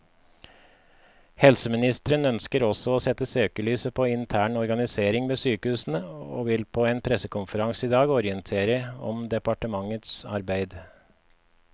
Helseministeren ønsker også å sette søkelyset på intern organisering ved sykehusene, og vil på en pressekonferanse i dag orientere om departementets arbeid.